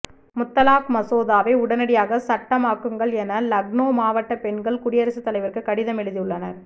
முத்தலாக் மசோதாவை உடனடியாக சட்டமாக்குங்கள் என லக்னோ மாவட்ட பெண்கள் குடியரசு தலைவருக்கு கடிதம் எழுதி உள்ளனர்